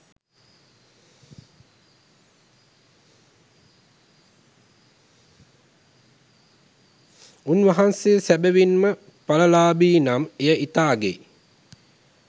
උන් වහන්සේ සැබැවින්ම ඵල ලාභී නම් එය ඉතා අගෙයි